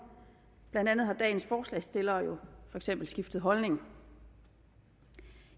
blandt andet har dagens forslagsstillere jo for eksempel skiftet holdning